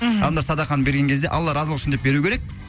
мхм анда садақаны берген кезде алла разылығы үшін деп беруі керек